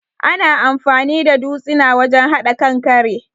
Ana anfani da dutsina wajen hada kankare.